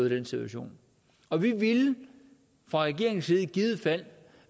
i den situation og vi ville fra regeringens side i givet fald